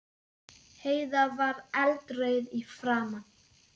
Heiða var eldrauð í framan.